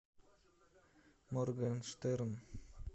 моргенштерн